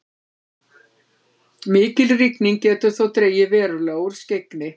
mikil rigning getur þó dregið verulega úr skyggni